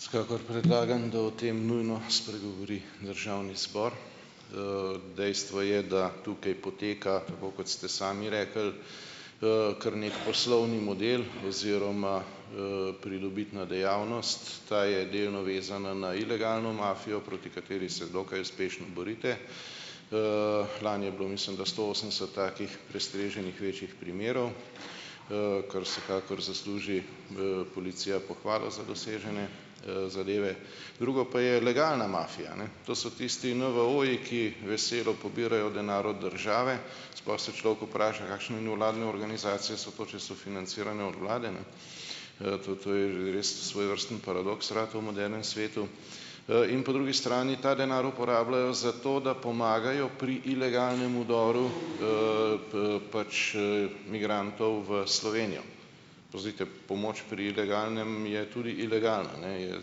Vsekakor predlagam, da o tem nujno spregovori državni zbor. Dejstvo je, da tukaj poteka, tako kot ste sami rekli, kar neki poslovni model oziroma, pridobitna dejavnost. Ta je delno vezana na ilegalno mafijo, proti kateri se dokaj uspešno borite. Lani je bilo, mislim da, sto osemdeset takih prestreženih večjih primerov, kar vsekakor zasluži, policija pohvalo za dosežene, zadeve. Drugo pa je legalna mafija, ne. To so tisti NVO-ji, ki veselo pobirajo denar od države. Sploh se človek vpraša, kakšne nevladne organizacije so to, če so financirane od vlade, ne. To je že res svojevrsten paradoks ratal v modernem svetu. In po drugi strani, ta denar uporabljajo zato, da pomagajo pri ilegalnem vdoru migrantov v Slovenijo. Pazite, pomoč pri ilegalnem je tudi ilegalna, ne, je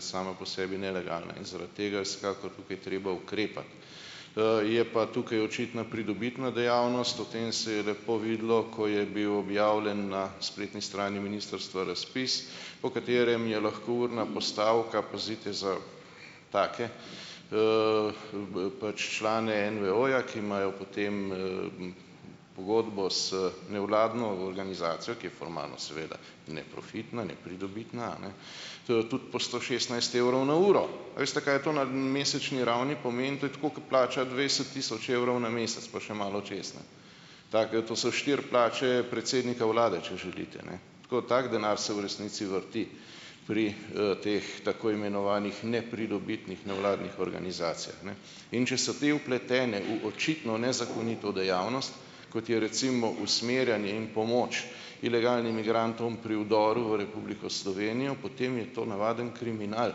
sama po sebi nelegalna. In zaradi tega je vsekakor tukaj treba ukrepati. Je pa tukaj očitno pridobitna dejavnost. O tem se je lepo videlo, ko je bil objavljen na spletni strani ministrstva razpis, po katerem je lahko urna postavka, pazite, za take pač člane NVO-ja, ki imajo potem pogodbo s nevladno organizacijo, ki je formalno, seveda, neprofitna, nepridobitna, a ne, tudi po sto šestnajst evrov na uro. A veste, kaj je to na mesečni ravni pomeni? To je tako, ke plača dvajset tisoč evrov na mesec, pa še malo čez, ne. Take to so štiri plače predsednika vlade, če želite, ne. Tako tako denar se v resnici vrti pri, teh tako imenovanih nepridobitnih nevladnih organizacijah, ne. In če so te vpletene v očitno nezakonito dejavnost, kot je recimo usmerjanje in pomoč ilegalnim migrantom pri vdoru v Republiko Slovenijo, potem je to navaden kriminal,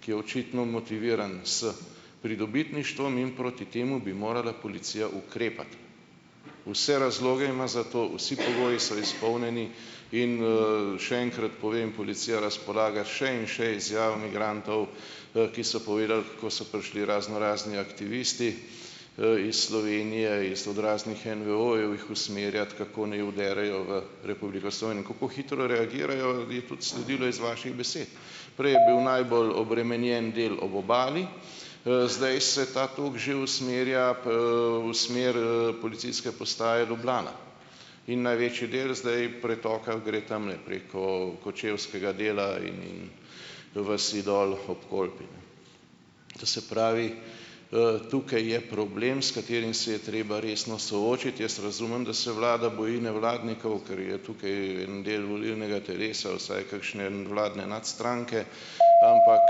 ki je očitno motiviran s pridobitništvom. In proti temu bi morala policija ukrepati. Vse razloge ima za to, vsi pogoji so izpolnjeni. In, še enkrat povem, policija razpolaga s še in še izjavami migrantov, ki so povedali, kako so prišli raznorazni aktivisti, iz Slovenije iz od raznih NVO-jev jih usmerjati, kako naj vdrejo v Republiko Slovenjo. In kako hitro reagirajo, je tudi sledilo iz vaših besed. Prej je bil najbolj obremenjen del ob obali. Zdaj se ta tok že usmerja, v smer, policijske postaje Ljubljana. In največji del zdaj pretoka gre tamle preko kočevskega dela in vasi dol ob Kolpi. To se pravi, tukaj je problem, s katerim se je treba resno soočiti. Jaz razumem, da se vlada boji nevladnikov, ker je tukaj en del volilnega telesa, vsaj kakšne vladne nadstranke. Ampak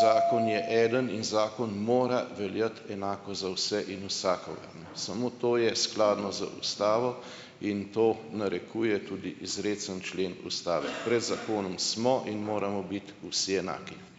zakon je eden in zakon mora veljati enako za vse in vsakogar, ne. Samo to je skladno z ustavo in to narekuje tudi izrecni člen ustave. Pred zakonom smo in moramo biti vsi enaki.